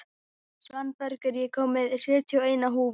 Svanbergur, ég kom með sjötíu og eina húfur!